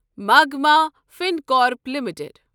مغمہ فنکارپ لِمِٹٕڈ